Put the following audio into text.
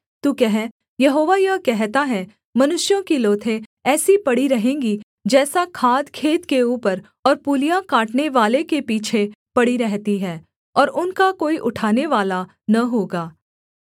तू कह यहोवा यह कहता है मनुष्यों की लोथें ऐसी पड़ी रहेंगी जैसा खाद खेत के ऊपर और पूलियाँ काटनेवाले के पीछे पड़ी रहती हैं और उनका कोई उठानेवाला न होगा